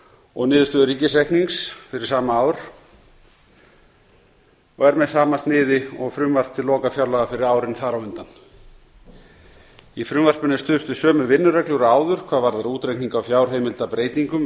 og niðurstöðu ríkisreiknings fyrir sama ár og er með sama sniði og frumvarp til lokafjárlaga fyrir árin þar á undan í frumvarpinu er stuðst við sömu vinnureglur og áður hvað varðar útreikning á fjárheimildabreytingum